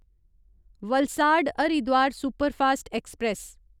Valsad Haridwar superfast express